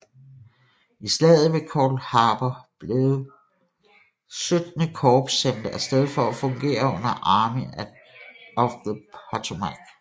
I Slaget ved Cold Harbor blev XVIII Korps sendt af sted for at fungere under Army of the Potomac